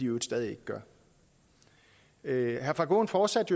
øvrigt stadig ikke gør herre frank aaen fortsatte